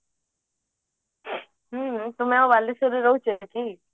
ହୁଁ ତୁମେ ଆଉ ବାଲେଶ୍ବରରେ ରହୁଛ କି